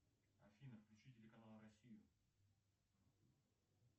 афина включи телеканал россию